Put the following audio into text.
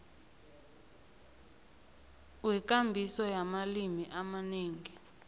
wekambiso yamalimi amanengi